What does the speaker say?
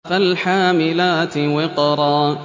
فَالْحَامِلَاتِ وِقْرًا